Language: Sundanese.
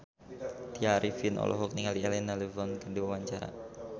Tya Arifin olohok ningali Elena Levon keur diwawancara